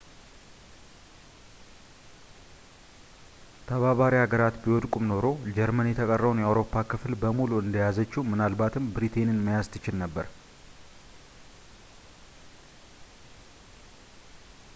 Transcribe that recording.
ተባባሪ ሀገራት ቢወድቁም ኖሮ ጀርመን የተቀረውን የአውሮፓ ክፍል በሙሉ እንደያዘችው ምናልባትም ብሪቴይንን መያዝ ትችል ነበር